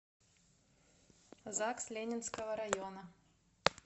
загс ленинского района